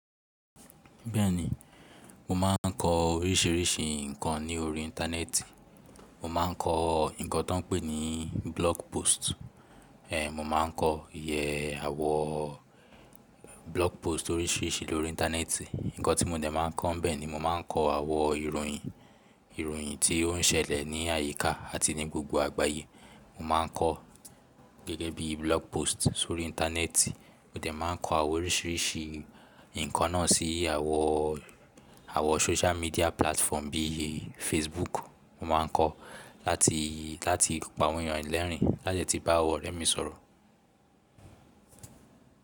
Bẹ́ẹ̀ni, mo máa ń kọ oríṣiríṣi nǹkan ní orí Íńtánẹ́ẹ̀tì. Mo máa ń kọ nǹkan tó ń pè ní blog post. Ehn, mo máa ń kọ iye àwò blog post oríṣiríṣi lórí Íńtánẹ́ẹ̀tì. Ǹkan tí mo dẹ̀ máa ń kọ́ bẹ́ẹ̀ ni, mo máa ń kọ àwọn ìròyìn, ìròyìn tí ó ń ṣẹlẹ̀ ní àyíká àti ní gbogbo àgbáyé. Mo má a ń kọ gẹ́gẹ́ bí blog post sórí Íńtánẹ́ẹ̀tì, mo dẹ̀ máa ń kọ àwọn oríṣiríṣi nǹkan náà sí àwọn, àwọn social media platform bí i Facebook. Mo máa ń kọ láti, láti pàwọn yàn lẹ́rìn lájẹ tí bá àwọn ọ̀rẹ́ mi sọ̀rọ̀.